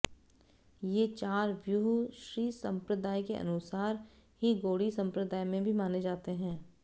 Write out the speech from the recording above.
ये चार व्यूह श्रीसंप्रदाय के अनुसार ही गौड़ीय संप्रदाय में भी माने जाते हैं